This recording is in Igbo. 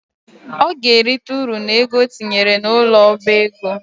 Ọ ga-erita ụrụ n’ego o tinyere n’ụlọ ọba ego